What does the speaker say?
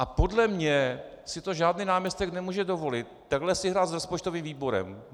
A podle mě si to žádný náměstek nemůže dovolit, takhle si hrát s rozpočtovým výborem.